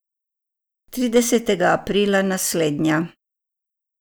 Tridesetega aprila naslednja.